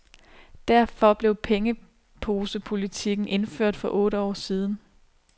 Derfor blev pengeposepolitikken indført for otte år siden.